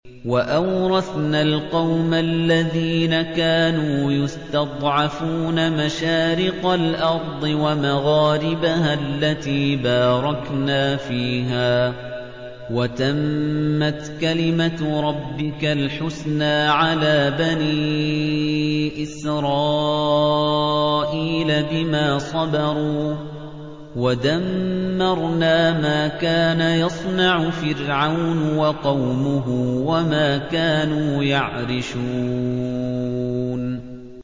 وَأَوْرَثْنَا الْقَوْمَ الَّذِينَ كَانُوا يُسْتَضْعَفُونَ مَشَارِقَ الْأَرْضِ وَمَغَارِبَهَا الَّتِي بَارَكْنَا فِيهَا ۖ وَتَمَّتْ كَلِمَتُ رَبِّكَ الْحُسْنَىٰ عَلَىٰ بَنِي إِسْرَائِيلَ بِمَا صَبَرُوا ۖ وَدَمَّرْنَا مَا كَانَ يَصْنَعُ فِرْعَوْنُ وَقَوْمُهُ وَمَا كَانُوا يَعْرِشُونَ